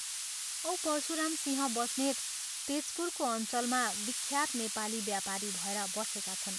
औ परशुरामसिंह बस्नेत तेजपुरको अञ्चलमा विख्यात नेपाली व्यापारी भएर बसेका छन्।